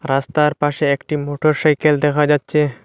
রাস্তার পাশে একটি মোটরসাইকেল দেখা যাচ্ছে।